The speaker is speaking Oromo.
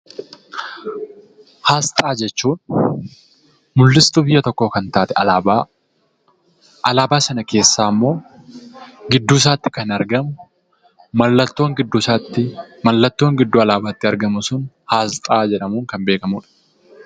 Asxaa jechuun mul'istuu biyya tokkoo kan taate, alaabaa sana keessaa immoo gidduu isaatti kan argamu, mallattoon gidduu alaabaatti argamu sun asxaa jedhamuun kan beekamudha.